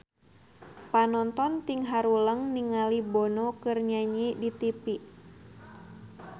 Panonton ting haruleng ningali Bono keur nyanyi di tipi